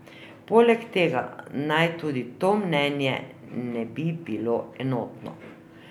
Poleg tega naj tudi to mnenje ne bi bilo enotno.